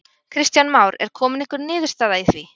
Kristján Már: Er komin einhver niðurstaða í því?